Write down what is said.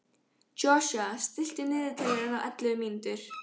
Joshua, stilltu niðurteljara á ellefu mínútur.